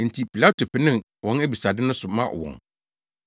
Enti Pilato penee wɔn abisade no so maa wɔn.